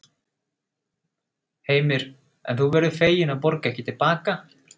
Heimir: En þú verður fegin að borga ekki til baka?